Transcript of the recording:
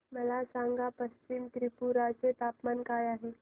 मला सांगा पश्चिम त्रिपुरा चे तापमान काय आहे